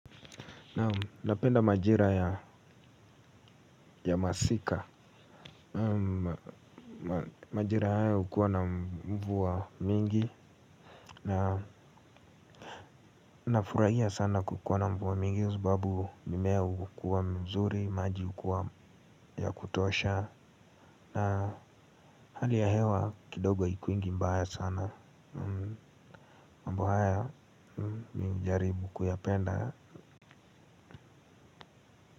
Napenda majira ya masika. Majira haya hukuwa na mvua mingi. Na nafurahia sana kukua na mvua mingi sababu mimea hukua mzuri, maji hukua ya kutosha. Na hali ya hewa kidogo haikuangi mbaya sana. Mambo haya mi hujaribu kuyapenda.